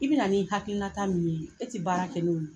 I bɛ na nin hakilinata min ye, ne tɛ baara kɛ n'o ye.